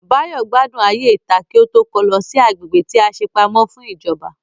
Báyọ̀ gbádùn ayé ìta kí ó tó kó lọ sí agbègbè tí a ṣe pamọ́ fún ìjọba